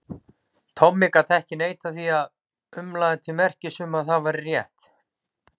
Tommi gat ekki neitað því og umlaði til merkis um að það væri rétt.